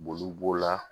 Boli b'o la